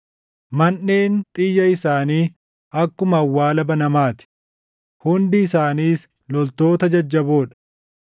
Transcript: Manʼeen xiyya isaanii akkuma awwaala banamaa ti; hundi isaaniis loltoota jajjaboo dha.